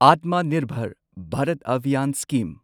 Atma Nirbhar Bharat Abhiyan scheme